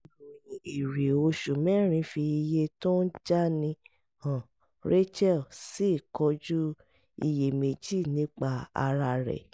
ìròyìn èrè oṣù mẹ́rin fi iye tó ń jáni hàn rachel sì kojú iyèméjì nípa ara rẹ̀